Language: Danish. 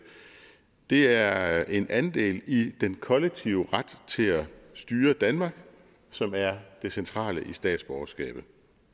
det er en andel i den kollektive ret til at styre danmark som er det centrale i statsborgerskabet